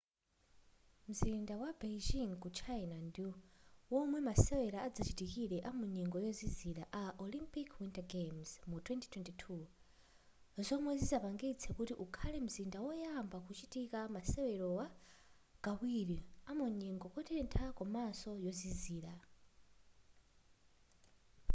mzinda wa beijin ku china ndiwomwe masewera adzachitikire amu nyengo yozizira a olympic winter games mu 2022 zomwe zizapangitse kuti ukhale mzinda woyamba kuchitika masewerowa kawiri amunyengo yotentha komaso yozizira